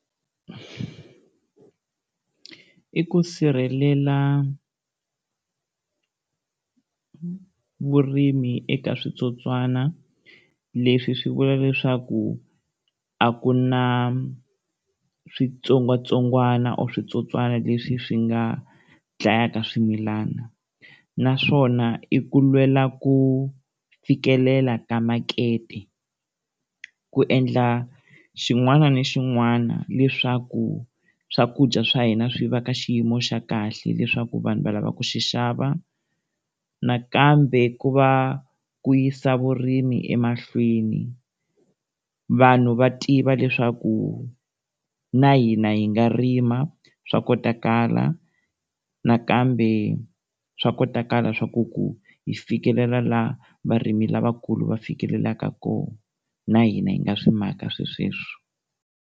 I ku sirhelela vurimi eka switsotswana leswi swi vula leswaku a ku na switsongwatsongwana or switsotswana leswi swi nga dlayaka swimilana. Naswona i ku lwela ku fikelela ka makete, ku endla xin'wana na xin'wana leswaku swakudya swa hina swi va ka xiyimo xa kahle, leswaku vanhu va lava ku xi xava. Nakambe ku va ku yisa vurimi emahlweni vanhu va tiva leswaku na hina hi nga rima swa kotakala, nakambe swa kotakala swa ku ku hi fikelela laha varimi lavakulu va fikelelaka kona, na hina hi nga swi maka swilo sweswo.